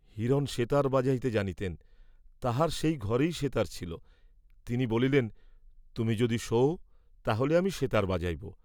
হিরণ সেতার বাজাইতে জানিতেন, তাঁহার সেই ঘরেই সেতার ছিল, তিনি বলিলেন, তুমি যদি শোও, তাহলে আমি সেতার বাজাব।